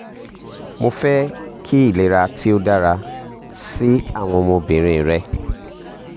mo fẹ ki ilera to dara si awọn ọmọbirin rẹ